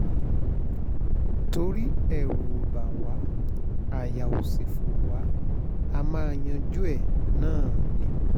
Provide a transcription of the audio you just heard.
torí ẹ̀ ẹ̀rù ò bá wa aya ó sì fọ́ wa á máa yanjú ẹ̀ náà ni